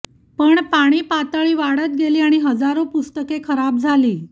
पण पाणी पातळी वाढत गेली आणि हजारो पुस्तके खराब झाली